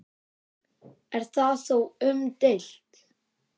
Er það þó umdeilt